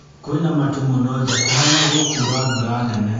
Kwĩna matu mũno nja kũhana gũkura mbura nene